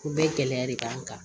U bɛɛ gɛlɛya de b'an kan